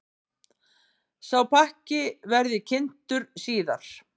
Sá pakki verði kynntur síðar.